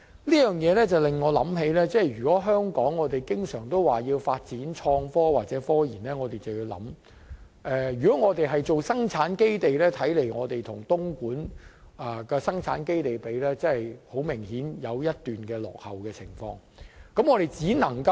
這方面令我想到，如果香港要發展創科或科研，如果我們要成為生產基地，便要留意，我們與東莞的生產基地相比，顯然落後一大段路。